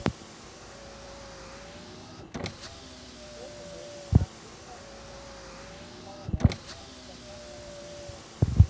Kristján: Telurðu að utanríkismálanefnd ætti að taka þetta upp?